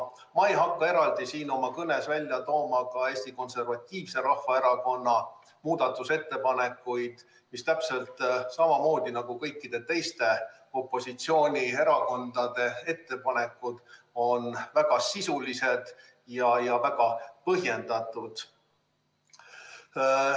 Ma ei hakka eraldi siin oma kõnes välja tooma ka Eesti Konservatiivse Rahvaerakonna muudatusettepanekuid, mis täpselt samamoodi nagu kõikide teiste opositsioonierakondade ettepanekud on väga sisulised ja väga põhjendatud.